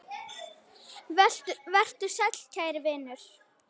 Vertu sæll kæri vinur.